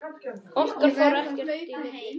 Okkar fór ekkert í milli.